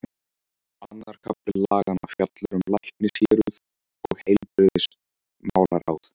Annar kafli laganna fjallar um læknishéruð og heilbrigðismálaráð.